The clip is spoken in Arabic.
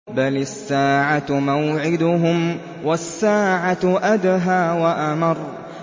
بَلِ السَّاعَةُ مَوْعِدُهُمْ وَالسَّاعَةُ أَدْهَىٰ وَأَمَرُّ